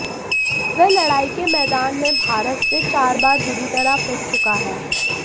वह लड़ाई के मैदान में भारत से चार बार बुरी तरह पिट चुका है